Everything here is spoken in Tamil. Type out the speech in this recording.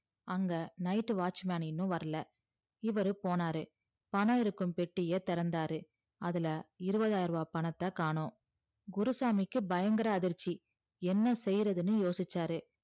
அங்க night ட்டு watchman இன்னும் வரல இவரு போனாரு பணம் இருக்கும் பெட்டிய திறந்தாறு அதுல இருவதாயரூவா பணத்தகாணு குருசாமிக்கு பயங்கர அதிர்ச்சி என்ன செய்றதுன்னு யோசிச்சாரு